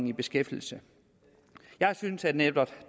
i beskæftigelse jeg synes at netop